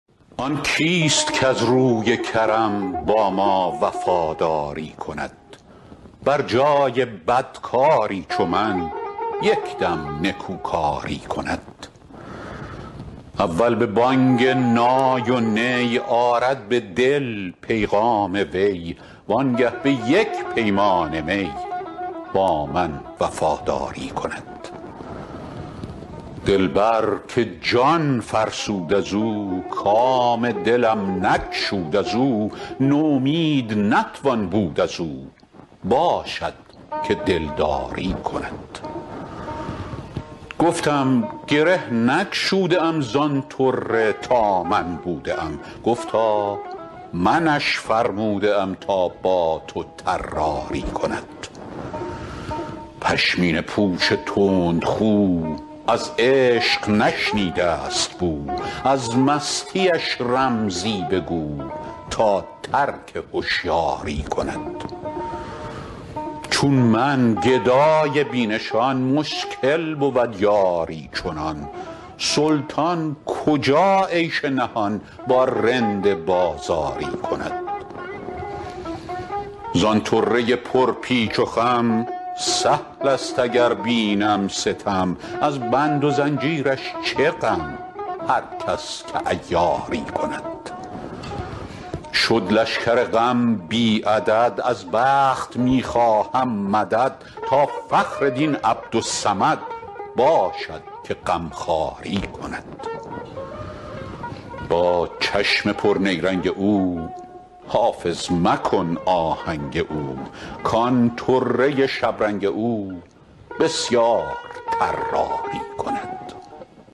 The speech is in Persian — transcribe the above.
آن کیست کز روی کرم با ما وفاداری کند بر جای بدکاری چو من یک دم نکوکاری کند اول به بانگ نای و نی آرد به دل پیغام وی وانگه به یک پیمانه می با من وفاداری کند دلبر که جان فرسود از او کام دلم نگشود از او نومید نتوان بود از او باشد که دلداری کند گفتم گره نگشوده ام زان طره تا من بوده ام گفتا منش فرموده ام تا با تو طراری کند پشمینه پوش تندخو از عشق نشنیده است بو از مستیش رمزی بگو تا ترک هشیاری کند چون من گدای بی نشان مشکل بود یاری چنان سلطان کجا عیش نهان با رند بازاری کند زان طره پرپیچ و خم سهل است اگر بینم ستم از بند و زنجیرش چه غم هر کس که عیاری کند شد لشکر غم بی عدد از بخت می خواهم مدد تا فخر دین عبدالصمد باشد که غمخواری کند با چشم پرنیرنگ او حافظ مکن آهنگ او کان طره شبرنگ او بسیار طراری کند